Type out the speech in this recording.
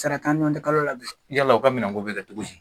Sara t'an ɲɔgɔn cɛ kalo la bi yala u ka minɛn ko bɛ kɛ cogo di.